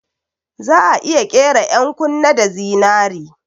Za'a iya ƙera 'yan kunne da zinari